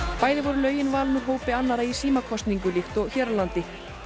bæði voru lögin valin úr hópi annarra í símakosningu líkt og hér á landi